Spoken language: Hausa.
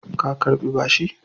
Ka Karɓi bashi!